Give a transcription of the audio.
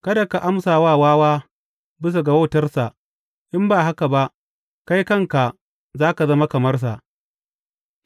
Kada ka amsa wa wawa bisa ga wautarsa, in ba haka ba kai kanka za ka zama kamar sa.